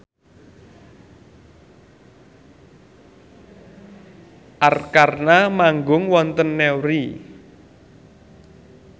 Arkarna manggung wonten Newry